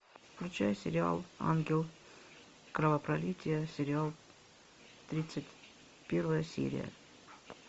включай сериал ангел кровопролития сериал тридцать первая серия